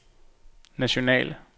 nationale